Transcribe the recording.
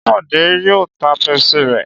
Ṣé Bọ̀dé yóò ta Pepsi rẹ̀?